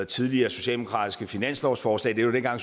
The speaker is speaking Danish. tidligere socialdemokratiske finanslovsforslag det var dengang